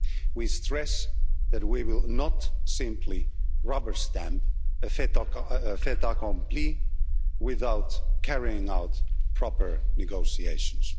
We stress that we will not simply rubber stamp a fait accompli without carrying out proper negotiations.